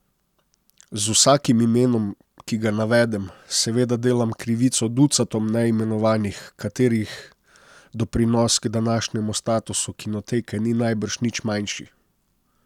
Z vsakim imenom, ki ga navedem, seveda delam krivico ducatom neimenovanih, katerih doprinos k današnjemu statusu Kinoteke ni najbrž nič manjši.